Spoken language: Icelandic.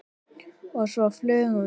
Og svo flugum við.